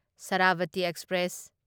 Sharavathi express